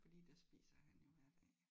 Fordi der spiser han jo hver dag